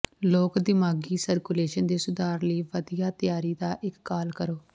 ਲੋਕ ਿਦਮਾਗ਼ੀ ਸਰਕੂਲੇਸ਼ਨ ਦੇ ਸੁਧਾਰ ਲਈ ਵਧੀਆ ਤਿਆਰੀ ਦਾ ਇਕ ਕਾਲ ਕਰੋ